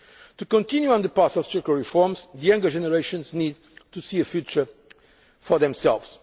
To continue on the path of structural reforms, the younger generations need to see a future for